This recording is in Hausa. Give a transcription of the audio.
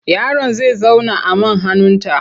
Yaron za zauna a man hannunta.